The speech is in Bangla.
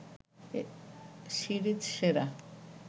সিরিজ সেরা